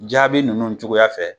Jaabi ninnu cogoya fɛ